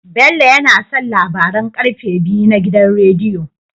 Bello yAna son labaran karfe biyu na gidan rediyo